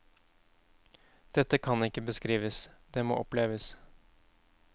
Dette kan ikke beskrives, det må oppleves.